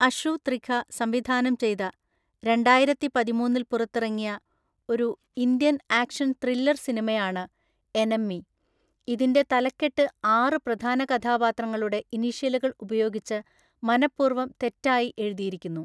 അഷു ത്രിഖ സംവിധാനം ചെയ്ത രണ്ടായിരത്തിപതിമൂന്നില്‍ പുറത്തിറങ്ങിയ ഒരു ഇന്ത്യൻ ആക്ഷൻ ത്രില്ലർ സിനിമയാണ് എനെമ്മി. ഇതിൻ്റെ തലക്കെട്ട് ആറ് പ്രധാന കഥാപാത്രങ്ങളുടെ ഇനീഷ്യലുകൾ ഉപയോഗിച്ച് മനഃപൂർവ്വം തെറ്റായി എഴുതിയിരിക്കുന്നു.